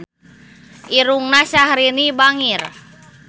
Irungna Syaharani bangir